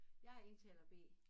Jeg er indtaler B